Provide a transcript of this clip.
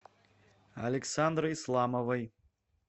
александры исламовой